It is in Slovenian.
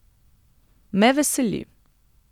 Me veseli.